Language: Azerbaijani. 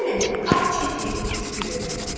Yenə bir ah çəkib şükür elədi.